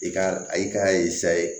I ka a yi ka